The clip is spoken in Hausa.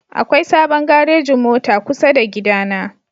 Akwai sabon garejin mota kusa da gidana